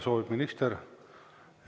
Soovib minister?